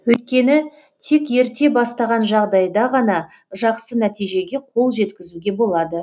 өйткені тек ерте бастаған жағдайда ғана жақсы нәтижеге қол жеткізуге болады